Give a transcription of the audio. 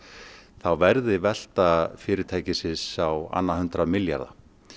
þá verði velta fyrirtækisins á annað hundrað milljarða